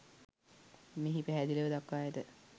මෙහි පැහැදිලිව දක්වා ඇත.